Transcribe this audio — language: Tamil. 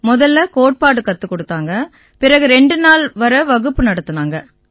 முதல்ல கோட்பாடு கத்துக் குடுத்தாங்க பிறகு ரெண்டு நாள் வரை வகுப்பு நடத்தினாங்க